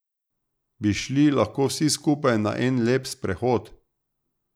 Bi šli lahko vsi skupaj na en lep sprehod.